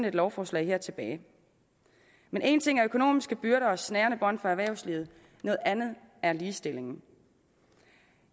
et lovforslag tilbage men en ting er økonomiske byrder og snærende bånd på erhvervslivet noget andet er ligestillingen